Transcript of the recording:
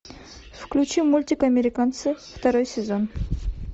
включи мультик американцы второй сезон